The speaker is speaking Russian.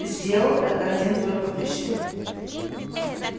сделал это один только пришвин